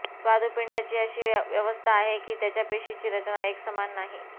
स्वादुपिंडची अशी व्यवस्था आहे की त्याच्या पेशीची रचना एकसमान नाही